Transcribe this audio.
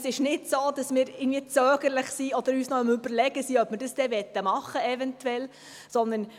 Es ist nicht so, dass wir zögerlich sind oder uns noch überlegen, ob wir das wirklich machen wollen.